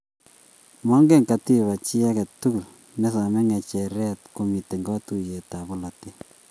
Mogee katiba chi age tugul ne somei ng'echer komitei kotuiyetab bolotet